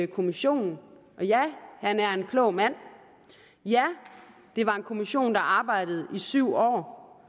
kommissionen ja han er en klog mand og ja det var en kommission der arbejdede i syv år